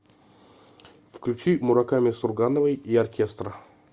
включи мураками сургановой и оркестра